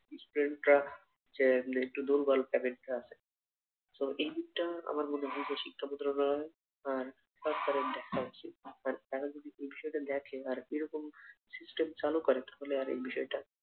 স্ট্রামটা যে একটু দুর্বল পকেটে আছে, so এই দিকটা আমার মনে হয় বেশি গড়াবে আর হট তারা যদি ভবিষতে লেখে আর এরকম system চালু করা তাহলে আর এই বিষয়টা